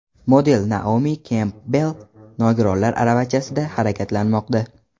Model Naomi Kempbell nogironlar aravachasida harakatlanmoqda.